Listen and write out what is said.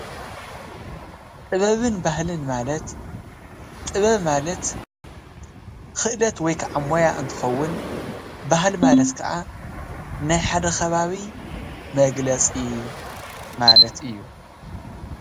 ጥበብን ባህልን ማለት ጥበብ ማለት ክእለት ወይ ከዓ ሞያ እንትከውን ባህሊ ማለት ከዓ ናይ ሓደ ከባቢ መግለፂ ማለት እዩ፡፡